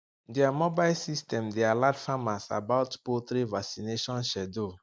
their mobile system dey alert farmers about poultry vaccination schedule